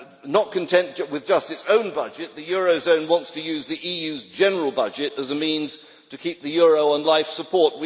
Not content with just its own budget, the eurozone wants to use the EU's general budget as a means to keep the euro on life support.